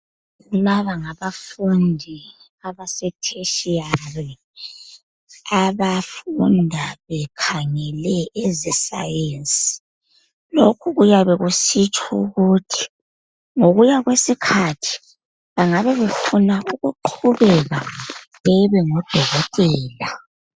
Laba ngabafundi abasetertiary abafunda bekhangele ezesayensi. Lokhu kuyabe kusitsho ukuthi ngokuya kwesikhathi bayabe befuna ukuqhubeka bebe ngodokotela.